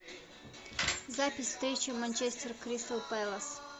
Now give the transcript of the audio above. запись встречи манчестер кристал пэлас